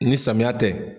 Ni samiya tɛ